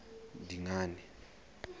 dingane